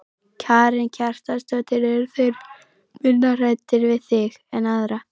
Karen Kjartansdóttir: Eru þeir minna hræddir við þig en aðra?